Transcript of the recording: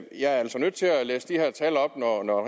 jeg er altså nødt til at læse de her at